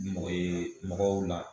Ni mɔgɔ ye mɔgɔw la